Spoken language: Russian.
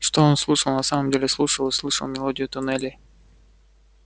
что он слушал на самом деле слушал и слышал мелодию туннелей